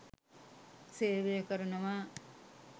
සේවය කරනවා.